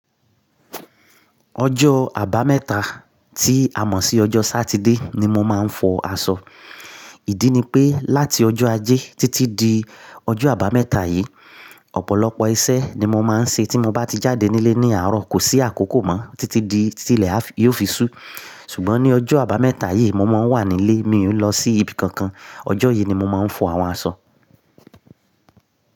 Ọjọ́ àbámẹ́ta tí a mọ̀ sí ọjọ́ Sátidé ni mo máa ń fọ aṣọ. Ìdí ni pé láti ọjọ́ Ajé títí di ọjọ́ àbámẹ́ta yìí, ọ̀pọ̀lọpọ̀ iṣẹ́ ni mo máa ń ṣe tí mo bá ti jáde nílé ní àárọ̀, kò sí àkókò mọ́ títí di tí ilẹ̀ yóò fi sú. Ṣùgbọ́n ní ọjọ́ àbámẹ́ta yìí mo máa ń wà nílé, mi ò lọ sí ibi kankan. Ọjọ́ yìí ni mo máa ń fọ àwọn aṣọ.